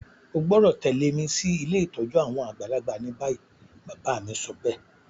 O gbọ́dọ̀ tẹ̀lẹ́ mi si ilé ìtójú àwon àgbàlagbà ni bayi. Bàbá mi sobéè